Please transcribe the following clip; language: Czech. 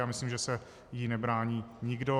A myslím, že se jí nebrání nikdo.